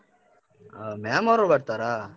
ಆ ma'am ಅವ್ರು ಬರ್ತರಾ?